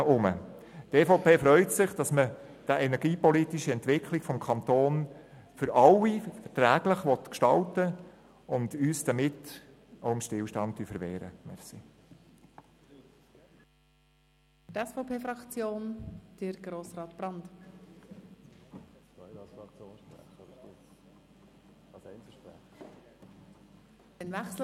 Die EVPFraktion freut sich, dass man die energiepolitische Entwicklung des Kantons für alle verträglich gestalten will und dass wir uns dadurch auch dem Stillstand verwehren.